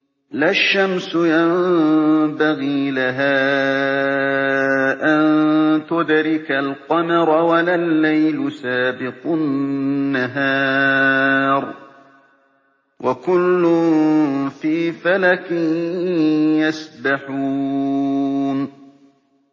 لَا الشَّمْسُ يَنبَغِي لَهَا أَن تُدْرِكَ الْقَمَرَ وَلَا اللَّيْلُ سَابِقُ النَّهَارِ ۚ وَكُلٌّ فِي فَلَكٍ يَسْبَحُونَ